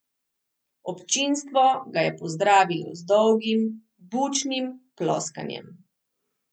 Občinstvo ga je pozdravilo z dolgim, bučnim ploskanjem.